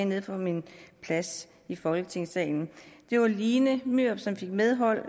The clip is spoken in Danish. nede fra min plads i folketingssalen det var line myrup som fik medhold